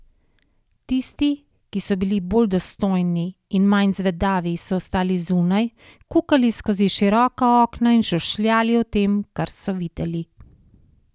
Tisti, ki so bili bolj dostojni in manj zvedavi, so ostali zunaj, kukali skozi široka okna in šušljali o tem, kar so videli.